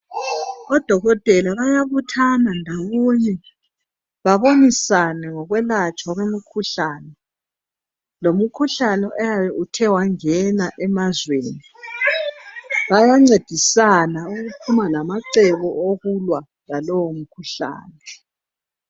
Odokotela bayabuthana ndawonye babonisane ngokwelatshwa kwemikhuhlane, lomkhuhlane oyaba suthe wangena emazweni. Bayancedisana ukuphuma lamacebo okulwa lalowo mkhuhlane.